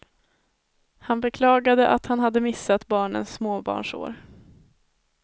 Han beklagade att han hade missat barnens småbarnsår.